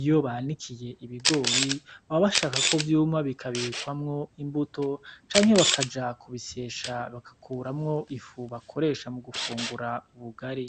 Iyo banikiye ibigori baba bashaka ko vyuma bikabikwamwo imbuto canke bakaja kubisyesha bagakuramwo ifu bakoresha mu gufungura ubugari.